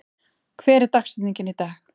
, hver er dagsetningin í dag?